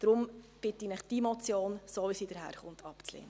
Deshalb bitte ich Sie, diese Motion, so wie sie daherkommt, abzulehnen.